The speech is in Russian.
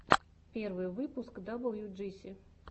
первый выпуск даблюджиси